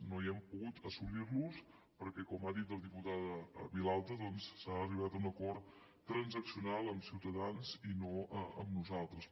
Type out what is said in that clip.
no hem pogut assolir los perquè com ha dit la diputada vilalta s’ha arribat a un acord transaccional amb ciutadans i no amb nosaltres